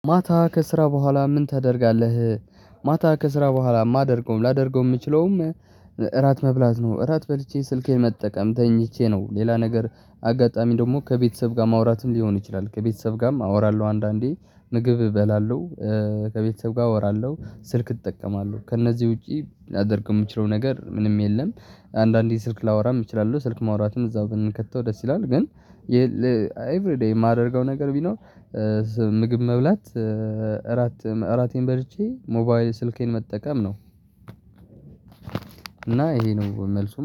ማታ ከስራ በኋላ ምን ታደርጋለህ? ማታ ከስራ በኋላ ማደርገውም ላደርገውም የምችለውም እራት መብላት ነው። እራት በልቼ ስልኬን መጠቀም ተኝቼ ነው። ሌላ ነገር አጋጣሚ ደግሞ ከቤተሰብ ጋር ማውራትም ሊሆን ይችላል። ከቤተሰብ ጋርም አወራለሁ አንዳንዴ ምግብ እበላለሁ። ከቤተሰብ ጋር አወራለሁ ስልክ እጠቀማለሁ ከእነዚህ ውጪ ላደርግ የምችለው ነገር ምንም የለም። አንዳንዴ ስልክ ላወራ የምችላለው ስልክ ማውራትም እዛው ግን ከተው ደስ ይላል። ግን ኤቭሪ ዴይ የማደርገው ነገር ቢኖር። ምግብ መብላት እራት እራቴን በርቼ ሞባይል ስልኬን መጠቀም ነው። እና ይሄ ነው መልሱ